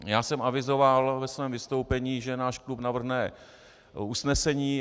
Já jsem avizoval ve svém vystoupení, že náš klub navrhne usnesení.